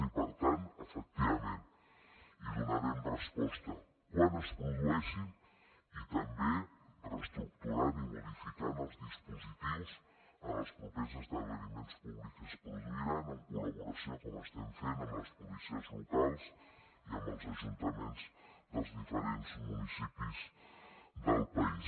i per tant efectivament hi donarem resposta quan es produeixin i també reestructurant i modificant els dispositius en els propers esdeveniments públics que es produiran en col·laboració com estem fent amb les policies locals i amb els ajuntaments dels diferents municipis del país